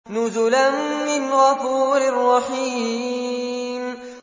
نُزُلًا مِّنْ غَفُورٍ رَّحِيمٍ